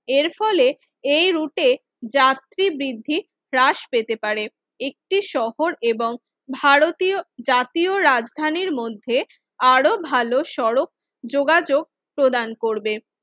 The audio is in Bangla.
এর ফলে এই রুটে যাত্রী বৃদ্ধি হ্রাস পেতে পারে একটি শহর এবং ভারতীয় জাতীয় রাজধানীর মধ্যে আরও ভালো সড়ক যোগাযোগ প্রদান করবে